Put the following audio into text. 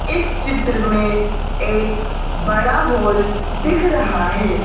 इस चित्र में एक बड़ा होल दिख रहा है।